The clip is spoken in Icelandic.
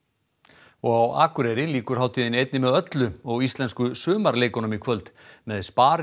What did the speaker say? og á Akureyri lýkur hátíðinni einni með öllu og Íslensku sumarleikunum í kvöld með